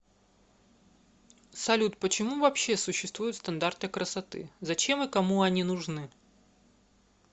салют почему вообще существуют стандарты красоты зачем и кому они нужны